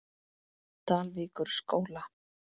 Dalvíkurskóla